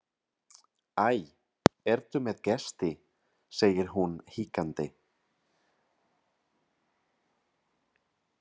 Æ, ertu með gesti, segir hún hikandi.